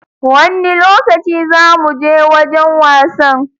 Wanne lokaci za mu Je wajan wasan?